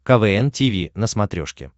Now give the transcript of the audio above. квн тиви на смотрешке